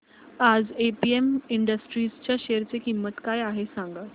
आज APM industries च्या शेअर ची किंमत काय आहे सांगा